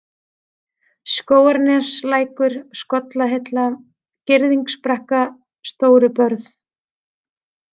Skógarnefslækur, Skollahilla, Girðingsbrekka, Stórubörð